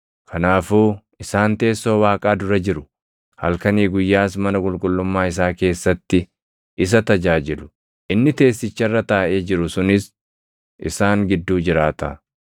Kanaafuu, “Isaan teessoo Waaqaa dura jiru; halkanii guyyaas mana qulqullummaa isaa // keessatti isa tajaajilu; inni teessicha irra taaʼee jiru sunis isaan gidduu jiraata.